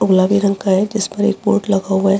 गुलाबी रंग का है जिस पर एक बोर्ड लगा हुआ है।